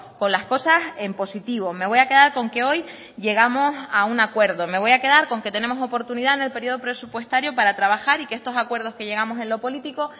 con las cosas en positivo me voy a quedar con que hoy llegamos a un acuerdo me voy a quedar con que tenemos oportunidad en el periodo presupuestario para trabajar y que estos acuerdos que llegamos en lo político